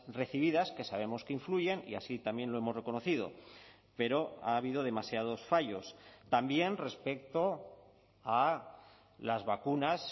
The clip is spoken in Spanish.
recibidas que sabemos que influyen y así también lo hemos reconocido pero ha habido demasiados fallos también respecto a las vacunas